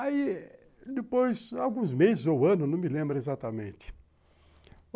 Aí, depois, alguns meses ou anos, não me lembro exatamente.